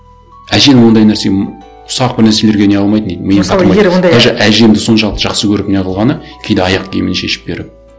әженің ондай нәрсе м ұсақ бір нәрселерге не қылмайтын дейді даже әжемді соншалықты жақсы көріп не қылғаны кейде аяқ киімін шешіп беріп